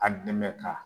A dɛmɛ ka